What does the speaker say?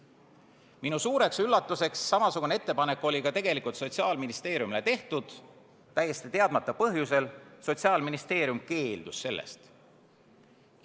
Minu suureks üllatuseks samasugune ettepanek oli tegelikult Sotsiaalministeeriumile tehtud, täiesti teadmata põhjusel Sotsiaalministeerium keeldus sellest.